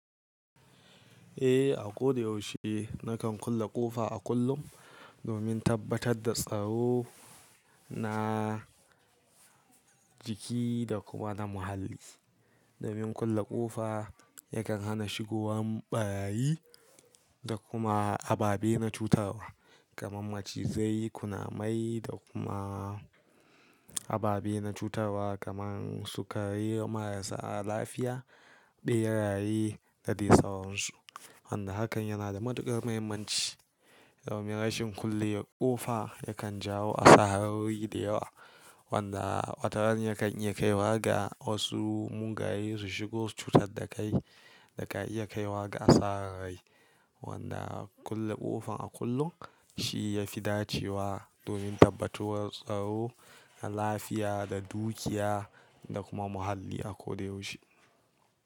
Eh, a ko da yaushe na kan kulle ƙofa a kullum domin tabbatar da tsaro na jiki da kuma na muhalli. Domin kulle ƙofa yakan hana shigowan ɓarayi da kuma ababe na cutarwa kamar Macizai, Kunamai da kuma ababe na cutarwa kamar sukari marasa lafiya ɓeraye da de sauransu. Wanda hakan yana da matuƙar mahimmanci domin rashin kulle ƙofa yakan jawo asarori da yawa, wanda wataran yakan iya kaiwa ga wasu mugaye su shigo su cutar da kai da ka iya kaiwa ga asarar rai. Wanda kulle ƙofan a kullum shi ya fi dacewa domin tabbatuwar tsaro na lafiya da dukiya da kuma muhalli a ko da yaushe.